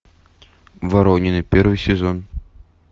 воронины первый сезон